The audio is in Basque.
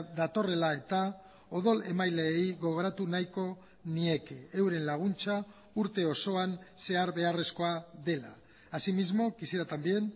datorrela eta odol emaileei gogoratu nahiko nieke euren laguntza urte osoan zehar beharrezkoa dela asimismo quisiera también